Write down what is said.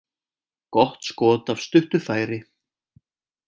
Gott skot af stuttu færi.